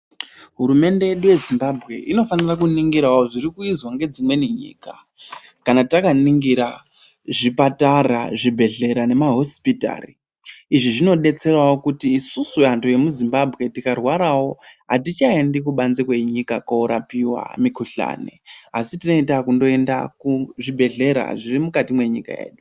Hurumende yedu yeZimbabwe inofanira kuningirawo zvirikuizwa ngedzimweni nyika kana takaningira zvipatara, zvibhehlera nemahosipitari. Izvi zvinodetserawo kuti isusu antu emuZimbabwe tikarwarawo hatichaendi kubanze kwenyika korapiwa mikhuhlani asi tinenge takungoenda kuzvibhehlera zviri mukati mwenyika yedu korapiwa mikhuhlani.